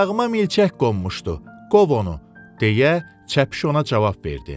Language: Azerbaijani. Ayağıma milçək qonmuşdu, qov onu, deyə çəpiş ona cavab verdi.